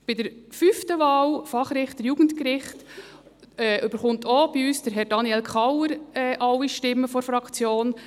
Bei der fünften Wahl, Fachrichter für das Jugendgericht, erhält von uns auch Herr Daniel Kauer alle Stimmen der Fraktion.